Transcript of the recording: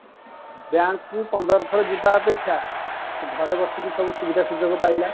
Bank କୁ ପନ୍ଦର ଥର ଯିବା ଅପେକ୍ଷା ସେ ଘରେ ବସିକି ସବୁ ସୁବିଧା ସୁଯୋଗ ପାଇଲା